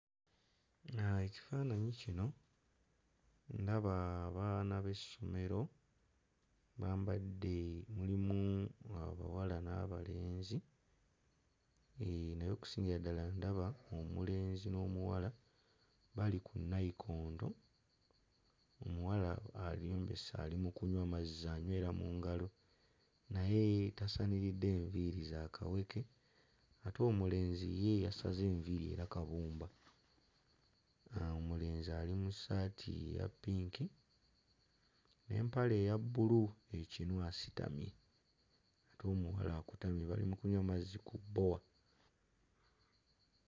Ekifaananyi kino ndaba abaana b'essomero bambadde mulimu abawala n'abalenzi, eeh naye okusingira ddala ndaba omulenzi n'omuwala bali ku nnayikondo, omuwala erembese ali mu kunywa mazzi anywera mu ngalo naye tasaniridde, enviiri za kawuke ate omulenzi ye yasaze enviiri era kabumba. Omulenzi ali mu ssaati eya ppinki n'empale eya bbulu ekinu asitamye ate omuwala akutamye bali mu kunywa mazzi ku bbowa.